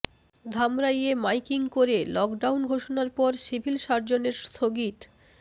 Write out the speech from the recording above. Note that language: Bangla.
ধামরাইয়ে মাইকিং করে লকডাউন ঘোষনার পর সিভিল সার্জনের স্থগিত